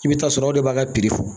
I bɛ taa sɔrɔ o de b'a ka fo